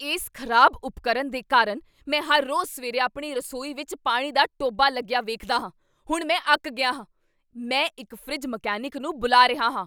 ਇਸ ਖ਼ਰਾਬ ਉਪਕਰਨ ਦੇ ਕਾਰਨ ਮੈਂ ਹਰ ਰੋਜ਼ ਸਵੇਰੇ ਆਪਣੀ ਰਸੋਈ ਵਿੱਚ ਪਾਣੀ ਦਾ ਟੋਭਾ ਲੱਗਿਆ ਵੇਖਦਾ ਹਾਂ! ਹੁਣ ਮੈਂ ਅੱਕ ਗਿਆ ਹਾਂ। ਮੈਂ ਇੱਕ ਫਰਿੱਜ ਮਕੈਨਿਕ ਨੂੰ ਬੁਲਾ ਰਿਹਾ ਹਾਂ।